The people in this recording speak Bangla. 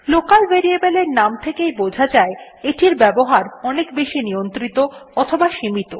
লোকাল ভ্যারিয়েবলস এর নাম থেকেই বোঝা যায় এটির ব্যবহার বেশি নিয়ন্ত্রিত অথবা সীমিত